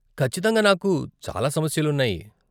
ఖచ్చితంగా నాకు చాలా సమస్యలు ఉన్నాయి.